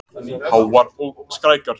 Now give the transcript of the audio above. Háar og skrækar.